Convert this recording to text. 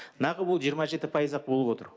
нағы бұл жиырма жеті пайыз ақ болып отыр